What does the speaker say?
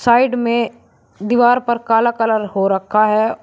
Side में दीवार पर काला कलर हो रखा है।